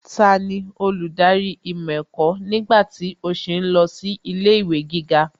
Tani olùdarí ìmọ̀ ẹ̀kọ́ nígbà tí ó sì ń lọ sí ilé ìwé gíga?